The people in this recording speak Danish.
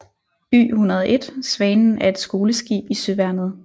Y101 Svanen er et skoleskib i Søværnet